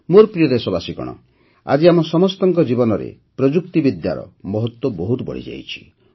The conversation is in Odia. ମୋର ପ୍ରିୟ ଦେଶବାସୀଗଣ ଆଜି ଆମ ସମସ୍ତଙ୍କ ଜୀବନରେ ପ୍ରଯୁକ୍ତିବିଦ୍ୟାର ମହତ୍ତ୍ୱ ବହୁତ ବଢ଼ିଯାଇଛି